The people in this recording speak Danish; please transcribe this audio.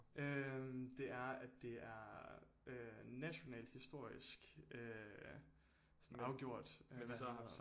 Øh det er at det er øh nationalt historisk øh sådan afgjort øh